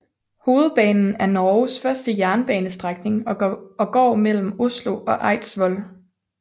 Hovedbanen er Norges første jernbanestrækning og går mellem Oslo og Eidsvoll